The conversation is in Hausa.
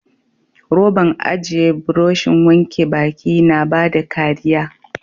Roban aje burushin wanke baki na bada kariya.